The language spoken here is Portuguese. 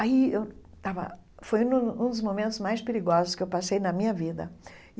Aí eu estava... foi um um dos momentos mais perigosos que eu passei na minha vida.